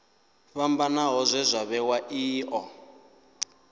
fhambanaho zwe zwa vhewa io